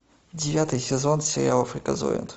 девятый сезон сериала фриказоид